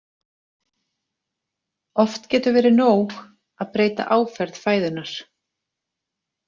Oft getur verið nóg að breyta áferð fæðunnar.